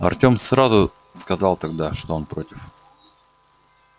артем сразу сказал тогда что он против